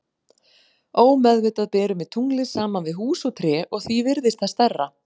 Ómeðvitað berum við tunglið saman við hús og tré og því virðist það stærra.